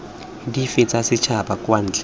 dife tsa setšhaba kwa ntle